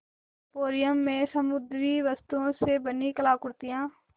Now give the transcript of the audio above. emporium में समुद्री वस्तुओं से बनी कलाकृतियाँ